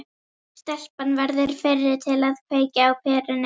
Stelpan verður fyrri til að kveikja á perunni.